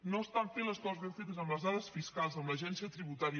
no estan fent les coses ben fetes amb les dades fiscals amb l’agència tributària